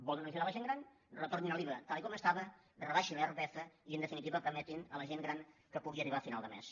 volen ajudar la gent gran retornin l’iva tal com estava rebaixin l’irpf i en definitiva permetin a la gent gran que pugui arribar a final de mes